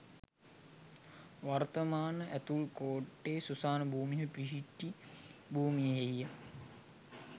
වර්තමාන ඇතුල් කෝට්ටේ සුසාන භූමිය පිහිටි භූමියෙහිය.